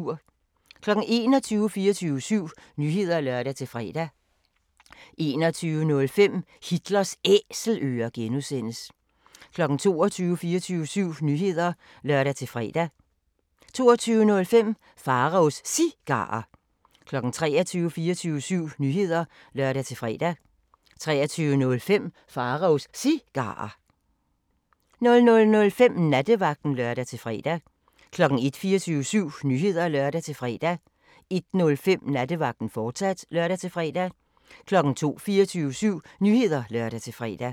21:00: 24syv Nyheder (lør-fre) 21:05: Hitlers Æselører (G) 22:00: 24syv Nyheder (lør-fre) 22:05: Pharaos Cigarer 23:00: 24syv Nyheder (lør-fre) 23:05: Pharaos Cigarer 00:05: Nattevagten (lør-fre) 01:00: 24syv Nyheder (lør-fre) 01:05: Nattevagten, fortsat (lør-fre) 02:00: 24syv Nyheder (lør-fre)